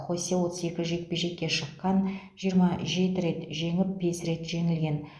хосе отыз екі жекпе жекке шыққан жиырма жеті рет жеңіп бес рет жеңілген